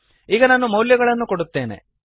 ಈಗ ನಾನು ಮೌಲ್ಯಗಳನ್ನು ಕೊಡುತ್ತೇನೆ